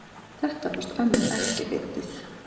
Þetta fannst ömmu ekki fyndið.